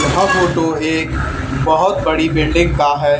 यह फोटो एक बहोत बड़ी बिल्डिंग का है।